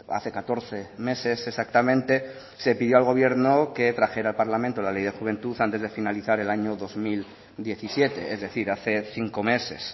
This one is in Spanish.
hace catorce meses exactamente se pidió al gobierno que trajera al parlamento la ley de juventud antes de finalizar el año dos mil diecisiete es decir hace cinco meses